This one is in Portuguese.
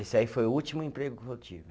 Esse aí foi o último emprego que eu tive.